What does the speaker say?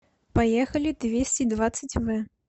поехали двести двадцать в